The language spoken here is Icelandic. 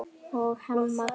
og Hemma Gunn.